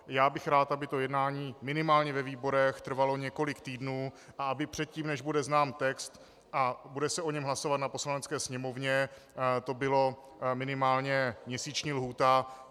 Já bych rád, aby to jednání minimálně ve výborech trvalo několik týdnů a aby předtím, než bude znám text a bude se o něm hlasovat na Poslanecké sněmovně, to byla minimálně měsíční lhůta.